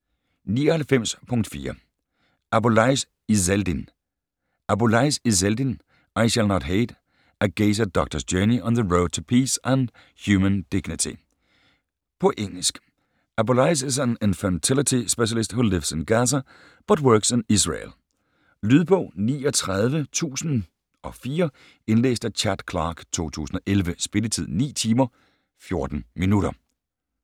99.4 Abuelaish , Izzeldin Abuelaish, Izzeldin: I shall not hate: a Gaza doctor's journey on the road to peace and human dignity På engelsk. Abuelaish is an infertility specialist who lives in Gaza but works in Israel. Lydbog 39004 Indlæst af Chad Clark, 2011. Spilletid: 9 timer, 14 minutter.